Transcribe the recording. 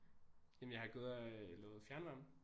Jamen jeg har gået og øh lavet fjernvarme